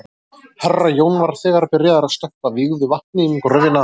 Herra Jón var þegar byrjaður að stökkva vígðu vatni um gröfina.